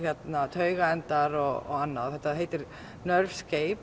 taugaendar og annað þetta heitir